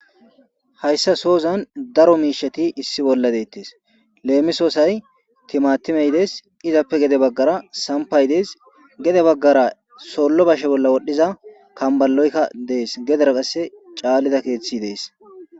Hayssa soozan daro miishati issi bolla deettes leemisoosay timatimeyidees izappe gede baggara sampay dees gede baggara sollo bashe bolla wodhdhiza kambaloykka dees gedera qasse caallida keeththi dees.